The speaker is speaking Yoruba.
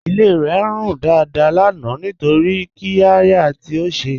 Ilé rẹ̀ ń rún dáadáà lánà nítorí qírẹ̀yà tí ó ṣè.